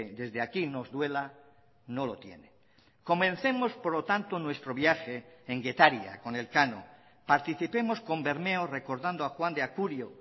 desde aquí nos duela no lo tiene comencemos por lo tanto nuestro viaje en getaria con elcano participemos con bermeo recordando a juan de acurio